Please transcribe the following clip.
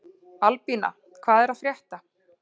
Albína, hvað er að frétta?